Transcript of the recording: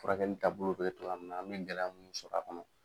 Furakɛli taa bolo bɛ tocogo ya min na an bɛ gɛlɛya mun sɔrɔ a kɔnɔ.